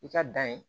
I ka dan ye